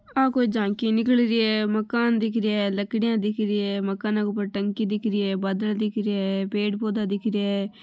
आ कोई झांकी दिख री हैंमकान दिख रा है लकड़ियां दिख री है मकान के उपर टंकी दिख री है बादल दिख रा हैंपेड़ पोधा दिख रा है।